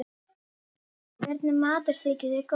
Hvernig matur þykir þér góður?